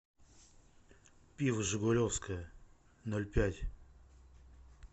пиво жигулевское ноль пять